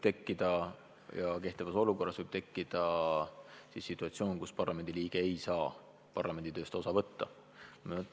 Ka praegu kehtivas õiguses on arvestatud situatsiooni, kus parlamendiliige ei saa parlamenditööst osa võtta.